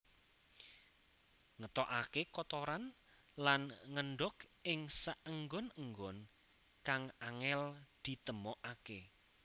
Ngetokaké kotoran lan ngendhog ing saenggon enggon kang angél ditemokaké